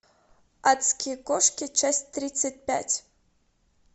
адские кошки часть тридцать пять